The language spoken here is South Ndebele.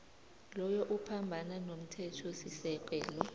loyo uphambana nomthethosisekelo